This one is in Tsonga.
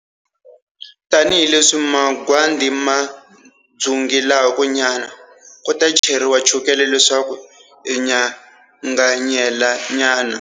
Tani hi leswi magwadi ma dzungelaku nyana, ku ta cheriwa chukele leswaku swi nyanganyela nyana.